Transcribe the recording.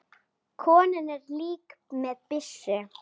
Konan er líka með byssu.